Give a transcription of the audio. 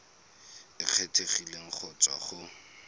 e kgethegileng go tswa go